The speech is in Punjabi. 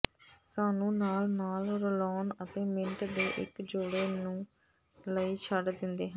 ਸਾਨੂੰ ਨਾਲ ਨਾਲ ਰਲਾਉਣ ਅਤੇ ਮਿੰਟ ਦੇ ਇੱਕ ਜੋੜੇ ਨੂੰ ਲਈ ਛੱਡ ਦਿੰਦੇ ਹਨ